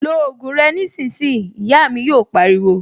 Lo ògùn rẹ nísìnyìí', Ìyá mi yò pariwo